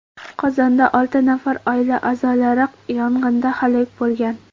Qozonda olti nafar oila a’zolari yong‘inda halok bo‘lgan.